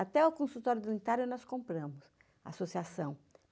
Até o consultório do unitário nós compramos, associação.